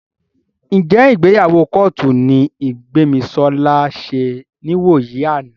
Ǹjẹ́ ìgbéyàwó kọ́ọ̀tù ni Gbémisọ́lá ṣe níwòyí àná?